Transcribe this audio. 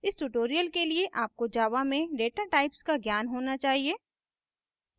इस tutorial के लिए आपको java में data types का ज्ञान होना चाहिए